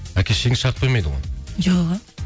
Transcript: әке шешеңіз шарт қоймайды ғой жоқ а